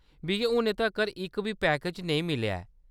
मिगी हुनै तक्कर इक बी पैकेज नेईं मिलेआ ऐ।